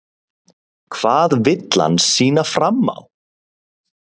Hvað vill hann sýna fram á?